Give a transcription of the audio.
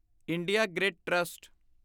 India grid trust